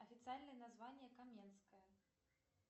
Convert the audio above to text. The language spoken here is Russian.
официальное название каменская